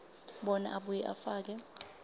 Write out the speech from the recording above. bona abuye afake